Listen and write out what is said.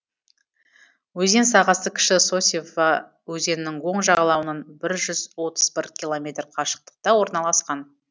өзен сағасы кіші сосьва өзенінің оң жағалауынан бір жүз отыз бір километр қашықтықта орналасқан